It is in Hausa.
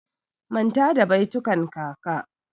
Manta da baitukan kaka!